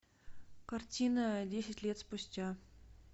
картина десять лет спустя